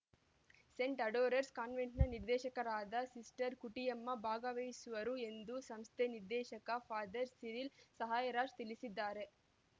Saint adorers ಕಾನ್ವೆಂಟ್‌ನ ನಿರ್ದೇಶಕರಾದ sister Kuttiyamma ಭಾಗವಹಿಸುವರು ಎಂದು ಸಂಸ್ಥೆ ನಿರ್ದೇಶಕ ಫಾದರ್ ಸಿರಿಲ್‌ ಸಹಾಯರಾಜ್‌ ತಿಳಿಸಿದ್ದಾರೆ